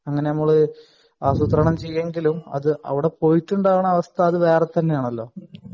അങ്ങനെ നമ്മൾ ആസൂത്രണം ചെയ്യുമെങ്കിലും അവിടെ പോയിട്ടുള്ള അവസ്ഥ അത് വേറെ തന്നെയാണല്ലോ